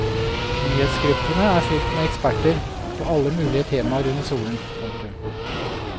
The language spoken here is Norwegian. Nyhetsgruppene er fyllt med eksperter på alle mulige temaer under solen. punktum